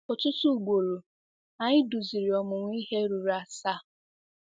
Ọtụtụ ugboro, anyị duziri ọmụmụ ihe ruru asaa.